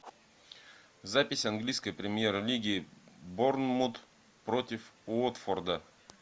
запись английской премьер лиги борнмут против уотфорда